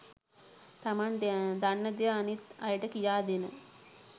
තමන් දන්න දේ අනිත් අයට කියා දෙන